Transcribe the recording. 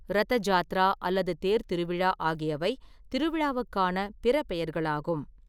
ரத ஜாத்ரா அல்லது தேர்த் திருவிழா ஆகியவை திருவிழாவுக்கான பிற பெயர்களாகும்.